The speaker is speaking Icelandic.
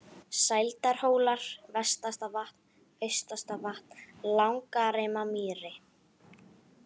Sældarhólar, Vestastavatn, Austastavatn, Langarimamýri